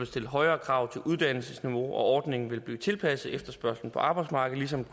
stillet højere krav til uddannelsesniveau og ordningen vil blive tilpasset efterspørgslen på arbejdsmarkedet ligesom